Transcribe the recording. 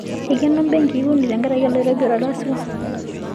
Eikeno mbenkii uni tenkaraki orkirobi otarasua